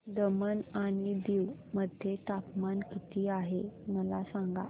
दमण आणि दीव मध्ये तापमान किती आहे मला सांगा